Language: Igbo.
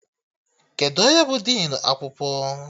Kedụ onye bụ dịnụ akwụkwọ?